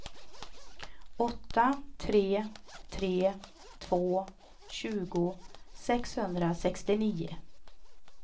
åtta tre tre två tjugo sexhundrasextionio